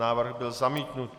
Návrh byl zamítnut.